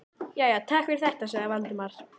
Jæja, takk fyrir þetta- sagði Valdimar.